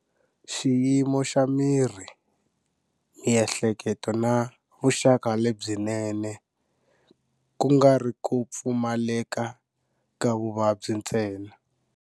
"Xiyimo xa miri, miehleketo na vuxaka lebyinene, kungari kupfumaleka ka vuvabyi ntsena."